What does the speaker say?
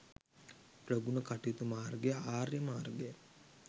ප්‍රගුණ කටයුතු මාර්ගය ආර්ය මාර්ගයයි.